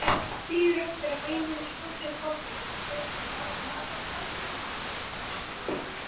Bíður eftir að vinurinn skjóti upp kollinum.